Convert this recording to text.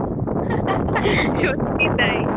সত্যিই তাই